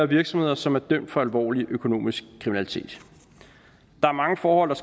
virksomheder som er dømt for alvorlig økonomisk kriminalitet der er mange forhold der